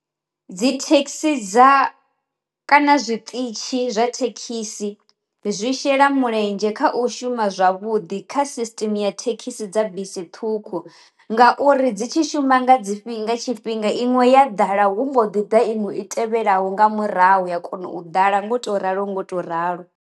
Dzi thekhisi dza kana zwi ṱitshi zwa thekhisi zwi shela mulenzhe kha u shuma zwavhuḓi kha system ya thekhisi dza bisi ṱhukhu, ngauri dzi tshi shuma nga dzi fhinga nga tshifhinga inwe ya ḓala hu mbo ḓi ḓa iṅwe i tevhelaho nga murahu ya kona u ḓala ngo to ralo ngo to ralo.